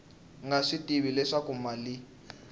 nga swi tivi leswaku mali